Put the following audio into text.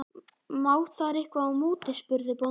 Má þar eitthvað í móti, spurði bóndi?